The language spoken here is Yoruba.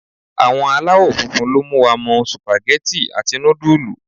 Àwọn alawofunfun ló mú wa mọ supageti àti nudulu.